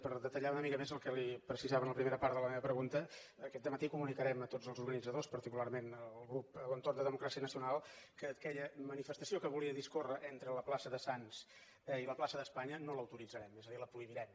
per detallar una mica més el que li precisava en la primera part de la meva pregunta aquest dematí comunicarem a tots els organitzadors particularment al grup a l’entorn de democràcia nacional que aquella manifestació que volia discórrer entre la plaça de sants i la plaça d’espanya no l’autoritzarem és a dir la prohibirem